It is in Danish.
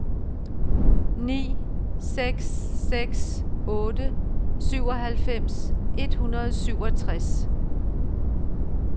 ni seks seks otte syvoghalvfems et hundrede og syvogtres